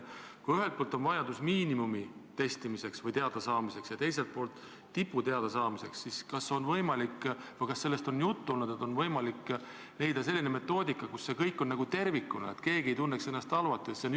Kui ühelt poolt on vajadus miinimumtaseme testimiseks ja teiselt poolt tipu taseme teadasaamiseks, siis kas on võimalik leida selline metoodika, kus see kõik on tervikuna arvestatud, et keegi ei tunneks ennast halvasti?